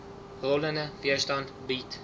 rollende weerstand bied